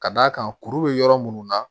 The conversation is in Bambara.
Ka d'a kan kuru be yɔrɔ munnu na